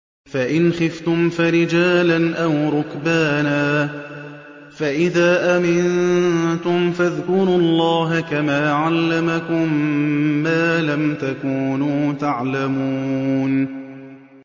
فَإِنْ خِفْتُمْ فَرِجَالًا أَوْ رُكْبَانًا ۖ فَإِذَا أَمِنتُمْ فَاذْكُرُوا اللَّهَ كَمَا عَلَّمَكُم مَّا لَمْ تَكُونُوا تَعْلَمُونَ